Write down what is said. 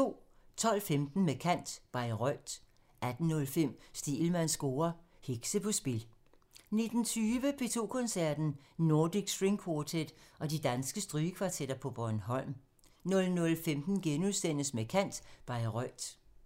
12:15: Med kant – Bayreuth 18:05: Stegelmanns score: Hekse på spil 19:20: P2 Koncerten – Nordic String Quartet og de danske strygekvartetter på Bornholm 00:15: Med kant – Bayreuth *